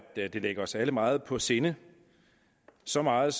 de ligger os alle meget på sinde så meget